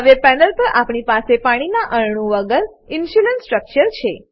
હવે પેનલ પર આપણી પાસે પાણીના અનુ વગર ઇન્સ્યુલીન સ્ટ્રક્ચર છે